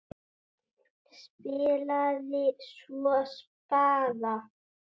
Spilaði svo spaða.